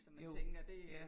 Jo, ja